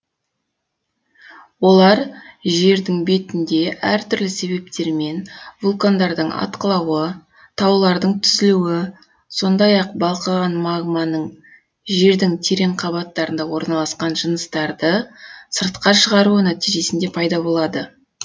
олар жердің бетінде әртүрлі себептермен вулкандардың атқылауы таулардың түзілуі сондай ақ балқыған магманың жердің терең қабаттарында орналасқан жыныстарды сыртқа шығаруы нәтижесінде пайда болады